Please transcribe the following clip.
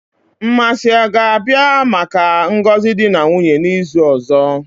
Mmasi ga-abia maka ngozi di na nwunye n'izu ozo?